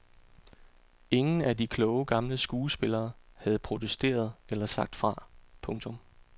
Ingen af de kloge gamle skuespillere har protesteret eller sagt fra. punktum